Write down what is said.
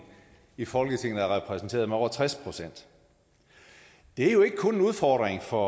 i folketinget er repræsenteret med over tres procent det er jo ikke kun en udfordring for